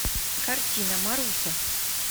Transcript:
картина маруся